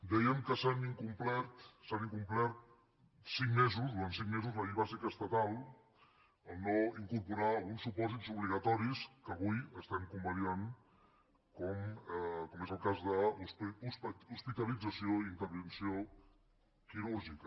dèiem que s’ha incomplert durant cinc mesos la llei bàsica estatal al no incorporar alguns supòsits obligatoris que avui estem convalidant com és el cas d’hospitalització i intervenció quirúrgica